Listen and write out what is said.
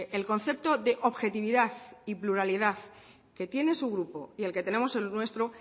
el concepto de objetividad y pluralidad que tiene su grupo y el que tenemos en el nuestro